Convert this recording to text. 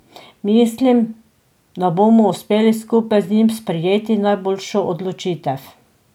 Mislim, da bomo uspeli skupaj z njim sprejeti najboljšo odločitev.